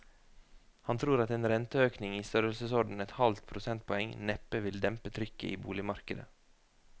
Han tror at en renteøkning i størrelsesorden et halvt prosentpoeng neppe vil dempe trykket i boligmarkedet.